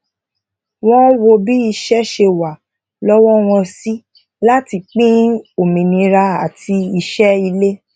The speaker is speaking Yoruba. wón wo bi iṣẹ ṣe wa lowo won si lati pin òmìnira àti ise ile